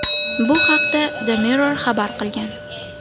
Bu haqda The Mirror xabar qilgan .